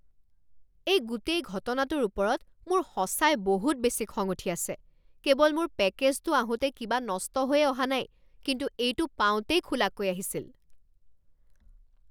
এই গোটেই ঘটনাটোৰ ওপৰত মোৰ সঁচাই বহুত বেছি খং উঠি আছে। কেৱল মোৰ পেকেজটো আহোঁতে কিবা নষ্ট হৈয়ে অহা নাই কিন্তু এইটো পাওঁতেই খোলাকৈ আহিছিল।